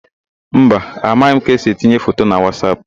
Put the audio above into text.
Mba, amaghị m ka esi etinye foto na Wasap.